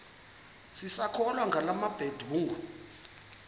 sisakholwa ngala mabedengu